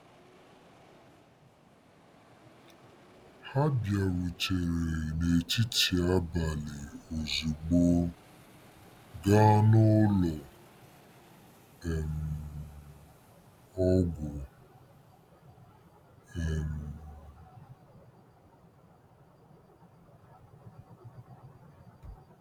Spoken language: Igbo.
Ha bịarutere n'etiti abalị ozugbo gaa n'ụlọ um ọgwụ um. ”